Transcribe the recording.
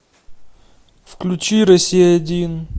включи россия один